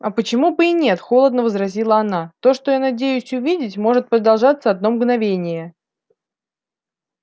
а почему бы и нет холодно возразила она то что я надеюсь увидеть может продолжаться одно мгновение